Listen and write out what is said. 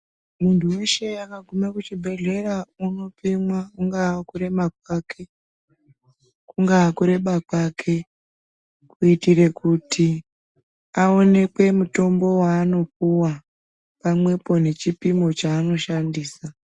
Muntu weshe akagume kuchibhedhlera unopimwa, kungaa kurema kwake ,kungaa kureba kwake, kuitire kuti aonekwe mutombo waanopuwa, pamwepo nechipimo chaanoshandisa